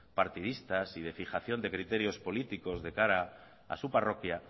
partidistas y de fijación de criterios políticos de cara a su parroquia